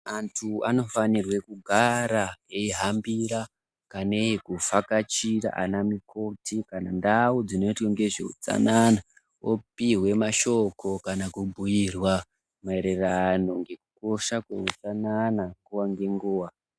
Antu anofanirwe kugara eihambira kanei kuvhakachira ana mukoti kana ntau dzinoitwe ngezvehutsanana opiwe mashoko kana kubhuyirwa maererano ngekukosha kweutsanana nguva nenguva.